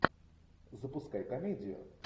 запускай комедию